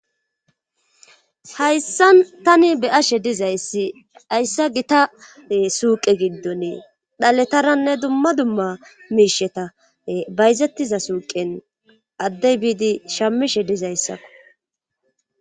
H ayssan tani beyashe dizayssi hayssa gita suuqe giddonee dhaletaranne dumma dumma miisheta bayzettiza suuqen addey biidi shammishe dizayssako